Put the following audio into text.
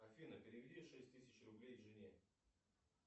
афина переведи шесть тысяч рублей жене